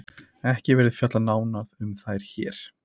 ekki verður fjallað nánar um þær hér